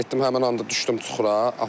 Mən getdim həmin anda düşdüm çuxura.